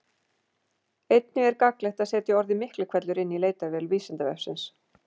Einnig er gagnlegt að setja orðið Miklihvellur inn í leitarvél Vísindavefsins.